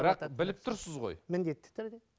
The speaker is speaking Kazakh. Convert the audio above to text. бірақ біліп тұрсыз ғой міндетті түрде